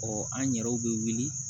an yɛrɛw bɛ wuli